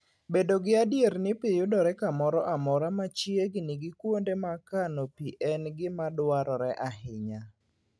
Bedo gadier ni pi yudore kamoro amora machiegni gi kuonde ma kano pi en gima dwarore ahinya.